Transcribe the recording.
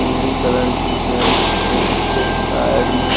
नीली कलर की पैंट है उसके साइड में --